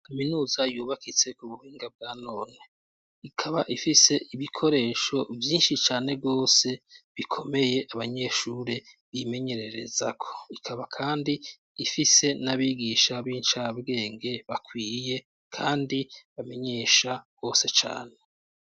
Kaminuza yubakitse ku buhinga bwa none. Ikaba ifise ibikoresho vyinshi cane rwose bikomeye, banyeshure bimenyererezako. Ikaba kandi ifise n'abigisha b'incabwenge, bakwiye kandi bamenyesha rwose cane.